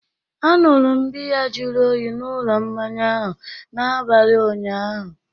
Anụrụ m biya jụrụ oyi n'ụlọ mmanya ahụ n'abalị ụnyaahụ